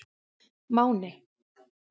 Máni